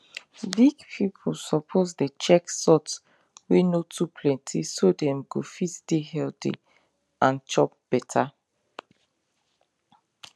big people suppose dey check salt wey no too plenty so dem go fit dey healthy and chop beta